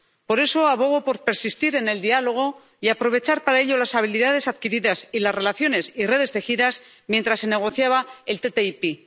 Por eso, abogo por persistir en el diálogo y aprovechar para ello las habilidades adquiridas y las relaciones y redes tejidas mientras se negociaba el ATCI.